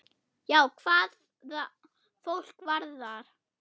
Já, hvað fólk varðar.